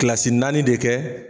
Kilasi naani de kɛ